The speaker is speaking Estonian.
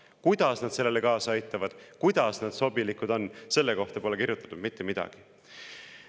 Kuidas nad sellele kaasa aitavad, kuidas nad sobilikud on, selle kohta pole kirjutatud mitte midagi.